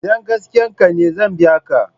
Idan gaskiyan ka ne zan biya ka.